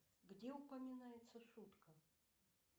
где упоминается шутка